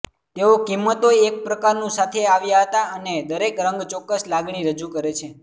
તેઓ કિંમતો એક પ્રકારનું સાથે આવ્યા હતા અને દરેક રંગ ચોક્કસ લાગણી રજૂ કરે છે